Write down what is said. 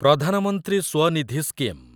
Pradhan Mantri Svanidhi scheme